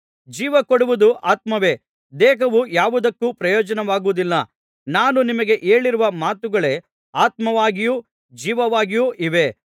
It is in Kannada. ಜೀವ ಕೊಡುವುದು ಆತ್ಮವೇ ದೇಹವು ಯಾವುದಕ್ಕೂ ಪ್ರಯೋಜನವಾಗುವುದಿಲ್ಲ ನಾನು ನಿಮಗೆ ಹೇಳಿರುವ ಮಾತುಗಳೇ ಆತ್ಮವಾಗಿಯೂ ಜೀವವಾಗಿಯೂ ಇವೆ